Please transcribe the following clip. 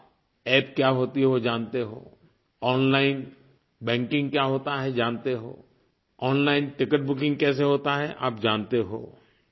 आप अप्प क्या होती है वो जानते हो ओनलाइन बैंकिंग क्या होता है जानते हो ओनलाइन टिकेट बुकिंग कैसे होता है आप जानते हो